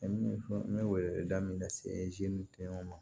n bɛ weleda min na se ma